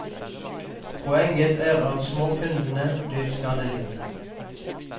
Poenget er at småkundene blir skadelidende.